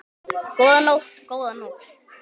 Góða nótt, góða nótt.